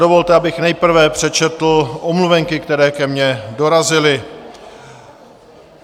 Dovolte, abych nejprve přečetl omluvenky, které ke mně dorazily.